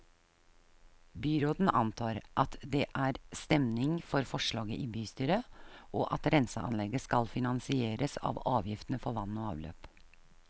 Byråden antar at det er stemning for forslaget i bystyret, og at renseanlegget skal finansieres av avgiftene for vann og avløp.